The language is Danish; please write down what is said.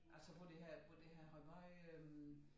Altså hvor det havde hvor det havde været øh